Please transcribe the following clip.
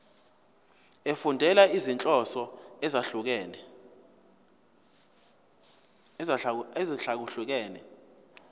efundela izinhloso ezahlukehlukene